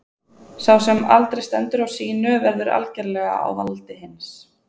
Sá sem aldrei stendur á sínu verður algerlega á valdi hins.